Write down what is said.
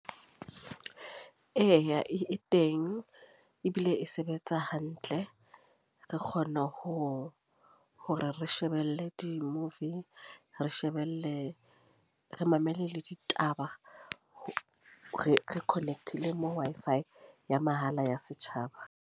Eya, e teng. Ebile e sebetsa hantle. Re kgona ho, hore re shebelle di-movie. Re shebelle, re mamele le ditaba. Re connect-ile moo Wi-Fi ya mahala ya Setjhaba.